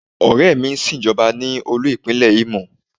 Ọ̀rẹ́ mi sin Ìjọba ní olú-ipinle Imo.